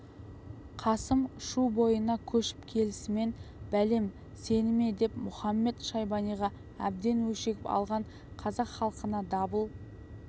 қасым шу бойына көшіп келісімен бәлем сені ме деп мұхамед-шайбаниға әбден өшігіп алған қазақ халқына дабыл